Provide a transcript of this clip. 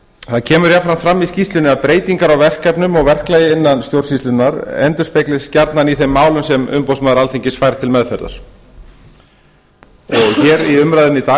kemur jafnframt fram í skýrslunni að breytingar á verkefnum og verklagi innan stjórnsýslunnar endurspeglist gjarnan í þeim málum sem umboðsmaður alþingis fær til meðferðar hér í umræðunni í dag